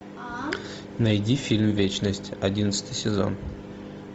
найди фильм вечность одиннадцатый сезон